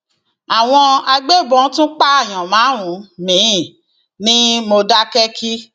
àwọn agbébọn tún pààyàn márùnún miín ní mòdákẹkí